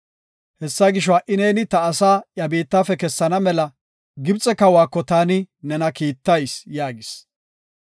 Hessa gisho, ha77i neeni ta asaa iya biittafe kessana mela Gibxe kawako taani nena kiittayis” yaagis.